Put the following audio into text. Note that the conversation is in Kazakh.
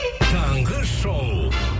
таңғы шоу